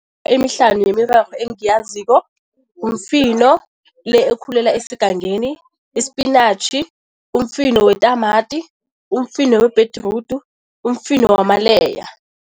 Emihlanu yemirorho engiyaziko, mifino le ekhulela esigangeni, isipinatjhi, umfino wetamati, umfino webhedrudu, umfino wamaleya.